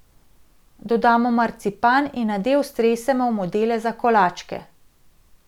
Dodamo marcipan in nadev stresemo v modele za kolačke.